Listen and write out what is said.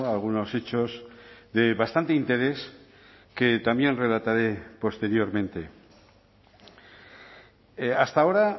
algunos hechos de bastante interés que también relataré posteriormente hasta ahora